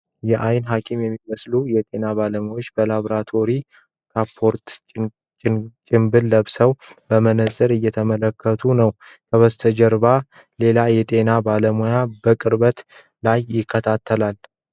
የዓይን ሐኪም የሚመስሉ የጤና ባለሙያ በላብራቶሪ ካፖርትና ጭንብል ፊቷን በመነፅር እየተመለከተች ነው። ከበሽተኛው ጀርባ ሌላ የጤና ባለሙያ በቅርበት ላይ ይከታተላል።